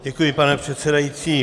Děkuji, pane předsedající.